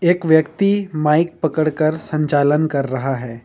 एक व्यक्ति माइक पकड़ कर संचालन कर रहा है।